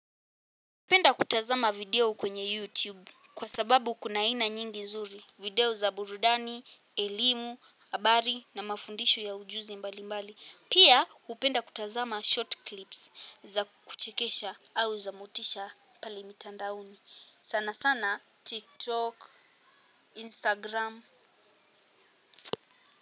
Upenda kutazama video kwenye YouTube kwa sababu kuna aina nyingi zuri. Video za burudani, elimu, habari na mafundisho ya ujuzi mbali mbali. Pia hupenda kutazama short clips za kuchekesha au za motisha pale mitandaoni. Sana sana TikTok, Instagram.